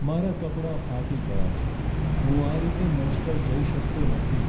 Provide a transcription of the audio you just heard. મારાં કપડાં ફાટી ગયાં છે. હું આ રીતે મંચ પર જઈ શકતો નથી.